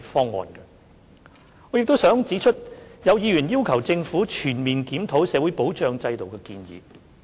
此外，我亦想指出，有議員建議政府全面檢討社會保障制度。